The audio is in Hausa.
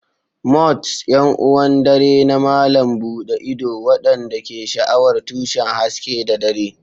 Moths: 'Yan uwan dare na malam buɗe ido waɗanda ke sha'awar tushen haske da dare.